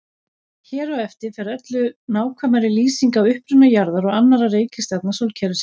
Hér á eftir fer öllu nákvæmari lýsing á uppruna jarðar og annarra reikistjarna sólkerfisins.